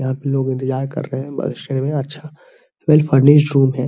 आप लोग इंतजार कर रहे हैबस स्टैंड में अच्छा वेल फर्नीशड रूम है |